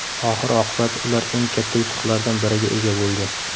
Oxir-oqibat ular eng katta yutuqlardan biriga ega bo‘ldi.